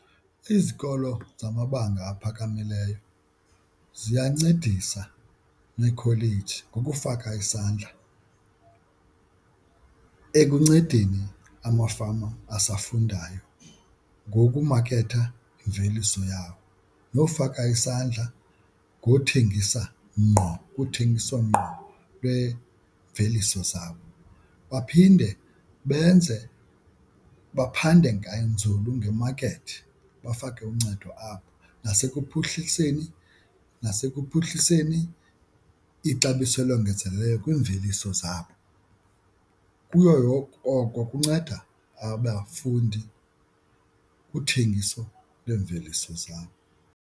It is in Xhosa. Izikolo zamabanga aphakamileyo ziyancedisa neekholeji ngokufaka isandla ekuncedeni amafama asafundayo ngokumaketha imveliso yawo nofaka isandla ngothengisa ngqo kuthengiso ngqo lwemveliso zabo. Baphinde benze baphande nganzulu ngemakethi bafake uncedo apho nasekuphuhliseni nasekuphuhliseni ixabiso elongezelelweyo kwiimveliso zabo. Kuyo oko kunceda abafundi kuthengiso lweemveliso zabo.